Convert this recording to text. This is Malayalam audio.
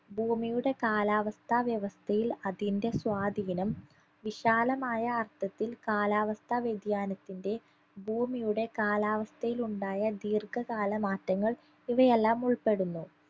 ഭൂമിയുടെ കാലാവസ്ഥാ വ്യവസ്ഥയിൽ അതിന്റെ സ്വാധീനം വിശാലമായ അർത്ഥത്തിൽ കാലാവസ്ഥാ വ്യതിയാനത്തിന്റെ ഭൂമിയുടെ കാലാവസ്ഥയിലുണ്ടായ ദീർഘകാല മാറ്റങ്ങൾ ഇവയെല്ലാം ഉൾപ്പെടുന്നു